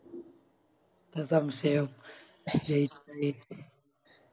അത് സംശയ ജയിച്ച ജയിച്ച്